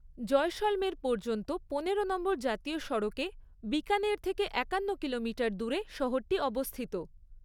জয়সলমের পর্যন্ত পনেরো নম্বর জাতীয় সড়কে বিকানের থেকে একান্ন কিলোমিটার দূরে শহরটি অবস্থিত।